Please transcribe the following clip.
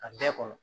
A bɛɛ kɔnɔ